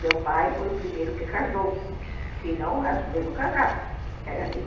Meu pai foi o primeiro que casou, senão as duas não casavam, porque era assim.